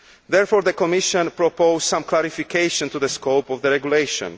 Therefore the Commission proposes some clarification to the scope of the regulation.